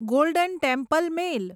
golden Temple mail